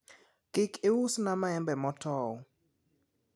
kik iusna maembe motow